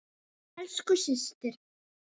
Elsku systir.